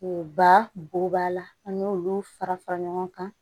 O ba bo b'a la an y'olu fara fara ɲɔgɔn kan